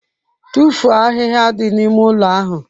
Tụfuo ahịhịa dị n'ime ụlọ ahụ!